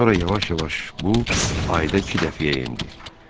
Sonra yavaş-yavaş bu ayda iki dəfəyə endi.